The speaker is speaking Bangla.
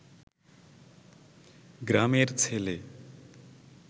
গ্রামের ছেলে